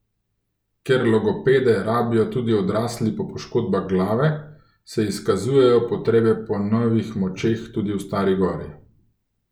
Ker logopede rabijo tudi odrasli po poškodbah glave, se izkazujejo potrebe po novih močeh tudi v Stari gori.